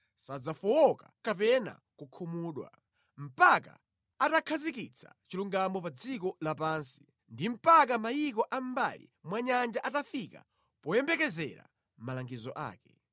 sadzafowoka kapena kukhumudwa mpaka atakhazikitsa chilungamo pa dziko lapansi, ndi mpaka mayiko a mʼmbali mwa nyanja atafika poyembekezera malangizo ake.”